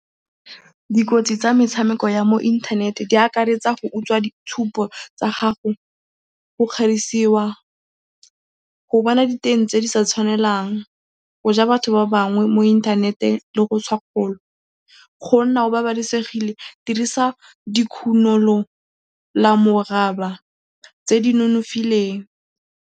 Dikotsi tsa metshameko ya mo inthanete di akaretsa go utswa ditshupo tsa gago, go kgerisiwa, go bona diteng tse di sa tshwanelang, go ja batho ba bangwe mo inthanete le go . Go nna o babalesegile, dirisa dikhunolamoraba tse di nonofileng.